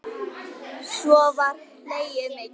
Svo var hlegið mikið.